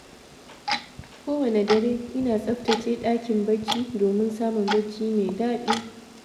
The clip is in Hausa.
Kowane dare, ina tsaftace ɗakin barci, domin samun barci mai daɗi.